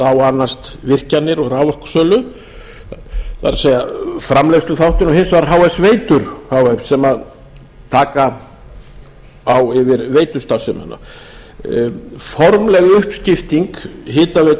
annast virkjanir og raforkusölu það er framleiðsluþáttinn og hins vegar h s veitur h f sem taka á yfir veitustarfsemina formleg uppskipting hitaveitu